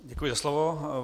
Děkuji za slovo.